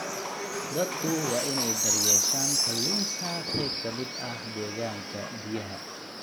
Dadku waa inay daryeeshaan kalluunka qayb ka mid ah deegaanka biyaha.